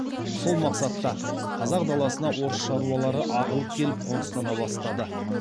сол мақсатта қазақ даласына орыс шаруалары ағылып келіп қоныстана бастады